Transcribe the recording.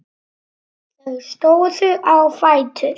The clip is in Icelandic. Þau stóðu á fætur.